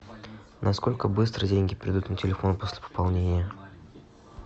насколько быстро деньги придут на телефон после пополнения